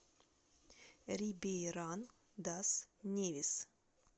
рибейран дас невис